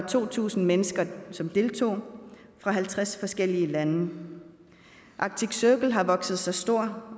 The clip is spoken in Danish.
to tusind mennesker fra halvtreds forskellige lande arctic circle har år vokset sig stor